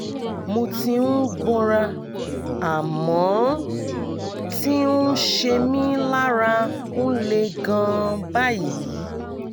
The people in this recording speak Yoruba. mo ti ń gbọ́ra àmọ́n ti ń ṣe mí lára ń le gan-an báyìí